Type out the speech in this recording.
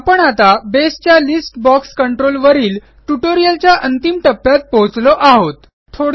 आपण आता बसे च्या लिस्ट बॉक्स कंट्रोल वरील ट्युटोरियलच्या अंतिम टप्प्यात पोहोचलो आहोत